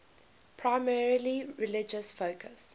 primarily religious focus